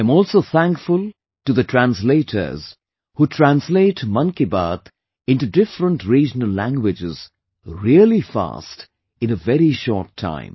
I am also thankful to the translators, who translate 'Mann Ki Baat' into different regional languages really fast in a very short time